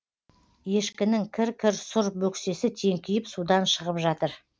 ешкінің кір кір сұр бөксесі теңкиіп судан шығып жатыр